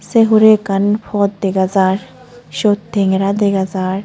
Se hure ekkan pot dega jaar siyot tengera dega jaar.